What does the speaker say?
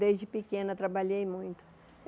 Desde pequena trabalhei muito.